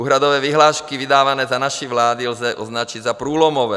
Úhradové vyhlášky vydávané za naší vlády lze označit za průlomové.